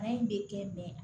Baara in bɛ kɛ